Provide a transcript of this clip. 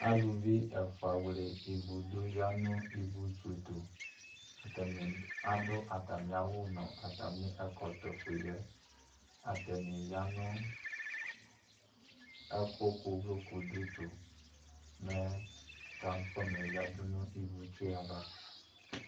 Alʋvi ɛfʋa wle ivʋdʋ yanʋ ivʋtsʋ tʋ atani adʋ atami awʋ nʋ atami ɛkɔtɔ fueyɛ atani yanʋ ɛkʋkʋ ʋvlokʋdʋ tɔ mɛ transforma yɛ yadʋ nʋ ivʋtsʋ ava